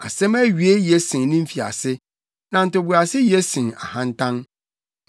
Asɛm awiei ye sen ne mfiase, na ntoboase ye sen ahantan.